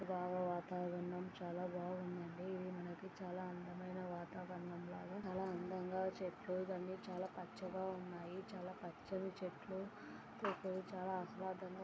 చాల వాతావరణం చాలా బాగుంది చాలా అందంగా చెట్లు చాలా పచ్చగా